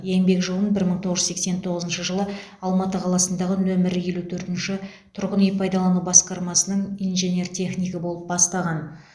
еңбек жолын бір мың тоғыз жүз сексен тоғызыншы жылы алматы қаласындағы нөмірі елу төртінші тұрғын үй пайдалану басқармасының инженер технигі болып бастаған